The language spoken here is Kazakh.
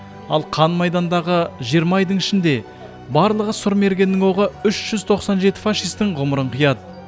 ал қан майдандағы жиырма айдың ішінде барлығы сұр мергеннің оғы үш жүз тоқсан жеті фашистің ғұмырын қияды